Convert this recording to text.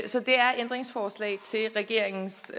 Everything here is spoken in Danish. så det er ændringsforslag til regeringens